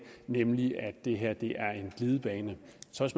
nemlig at det her er en glidebane